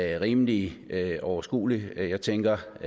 er rimelig overskuelig jeg tænker